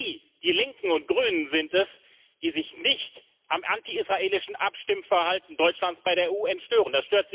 Denn Sie die Linken und Grünen sind es, die sich nicht am antiisraelischen Abstimmverhalten Deutschlands bei der UN stören.